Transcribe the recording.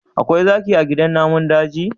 Akwai zaki a gidan namun daji?